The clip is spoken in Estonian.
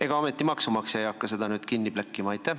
Ega ometi maksumaksja ei hakka seda kinni plekkima?